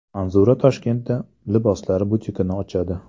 Manzura Toshkentda liboslar butikini ochadi.